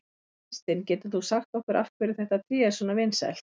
Kristinn, getur þú sagt okkur af hverju þetta tré er svona vinsælt?